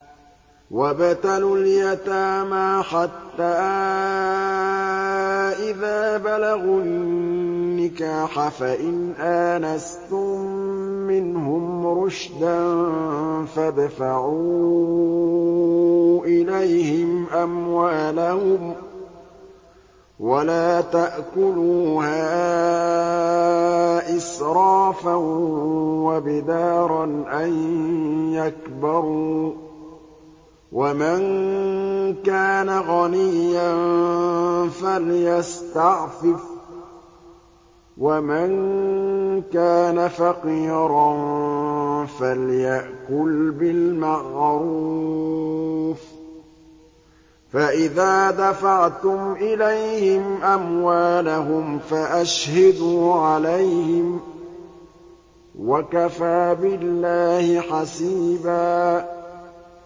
وَابْتَلُوا الْيَتَامَىٰ حَتَّىٰ إِذَا بَلَغُوا النِّكَاحَ فَإِنْ آنَسْتُم مِّنْهُمْ رُشْدًا فَادْفَعُوا إِلَيْهِمْ أَمْوَالَهُمْ ۖ وَلَا تَأْكُلُوهَا إِسْرَافًا وَبِدَارًا أَن يَكْبَرُوا ۚ وَمَن كَانَ غَنِيًّا فَلْيَسْتَعْفِفْ ۖ وَمَن كَانَ فَقِيرًا فَلْيَأْكُلْ بِالْمَعْرُوفِ ۚ فَإِذَا دَفَعْتُمْ إِلَيْهِمْ أَمْوَالَهُمْ فَأَشْهِدُوا عَلَيْهِمْ ۚ وَكَفَىٰ بِاللَّهِ حَسِيبًا